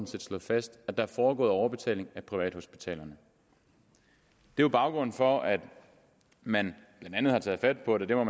slået fast at der er foregået overbetaling af privathospitalerne det er baggrunden for at man blandt andet har taget fat på det og